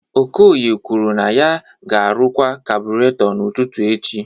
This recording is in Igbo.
Okoye kwuru na ya ga-arụkwa kabureto n'ụtụtụ echi